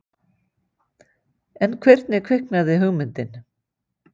En hvernig kviknaði hugmyndin?